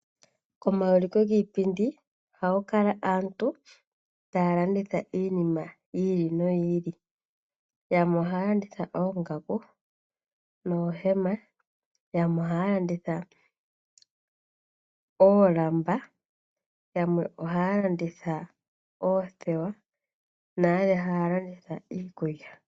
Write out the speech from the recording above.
Komauliko giipindi, oha ku kala aantu ta ya landitha iinima yi ili no yi ili. Yamwe oha ya landitha oongaku noohema, yamwe oha ya landitha oolamba , yamwe oha ya landitha oothewa, nayamwe ha ya landitha iikulya.